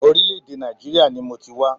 Orílẹ̀-èdè Nàìjíríà ni mọ ti wá.